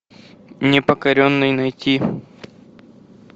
непокоренный найти